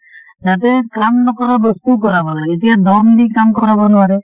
যাতে কাম নকৰ বস্তু কৰাব লাগে, এতিয়া দম দি কাম কৰাব নোৱাৰে